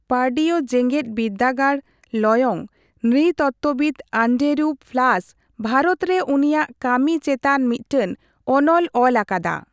ᱯᱟᱨᱰᱤᱣ ᱡᱮᱜᱮᱫ ᱵᱤᱨᱫᱟᱹᱜᱟᱲ ᱞᱚᱭᱚᱝ ᱱᱨᱤᱛᱚᱛᱵᱵᱤᱫ ᱟᱱᱰᱮᱨᱩ ᱯᱷᱞᱟᱥ ᱵᱷᱟᱨᱚᱛ ᱨᱮ ᱩᱱᱤᱭᱟᱜ ᱠᱟᱹᱢᱤ ᱪᱮᱛᱟᱱ ᱢᱤᱫᱴᱟᱝ ᱚᱱᱚᱞ ᱚᱞ ᱟᱠᱟᱫᱟ᱾